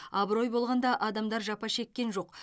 абырой болғанда адамдар жапа шеккен жоқ